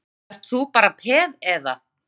Ert þú, ert þú bara peð, eða?